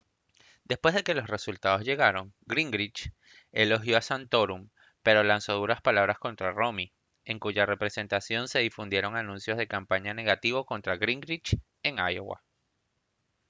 después de que los resultados llegaron gingrich elogió a santorum pero lanzó duras palabras contra rommey en cuya representación se difundieron anuncios de campaña negativos contra gingrich en iowa